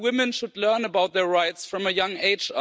Young women should learn about their rights from a young age.